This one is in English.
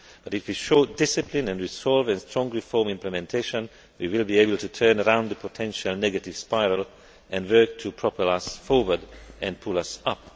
path. But if we show discipline and resolve and strong reform implementation we will be able to turn around the potential negative spiral and work to propel ourselves forward and pull ourselves